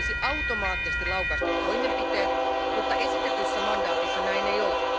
Sen tulisi automaattisesti laukaista toimenpiteet, mutta esitetyssä mandaatissa näin ei ole.